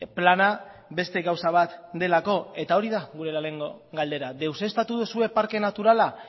plana beste gauza bat delako eta hori da gure lehenengo galdera deuseztatu duzue parke naturala